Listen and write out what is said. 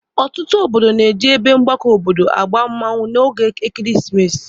Ọtụtụ obodo na-eji ebe Mgbako obodo agba mmanwụ n'oge ekeresimesi.